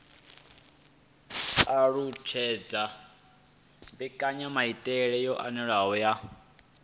alutshedza mbekanyamaitele yo anavhuwaho ya